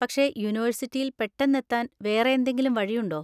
പക്ഷെ യൂണിവേഴ്സിറ്റിയിൽ പെട്ടെന്ന് എത്താൻ വേറെ എന്തെങ്കിലും വഴിയുണ്ടോ?